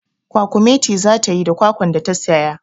Kwakumeti za ta yi da kwakwan da ta saya.